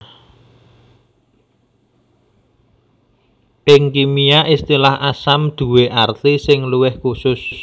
Ing kimia istilah asam duwé arti sing luwih khusus